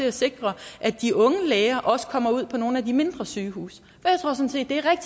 at sikre at de unge læger også kommer ud på nogle af de mindre sygehuse